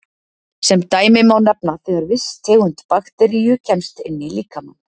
Sem dæmi má nefna þegar viss tegund bakteríu kemst inn í líkamann.